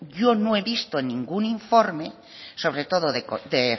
yo no he visto en ningún informe sobre todo de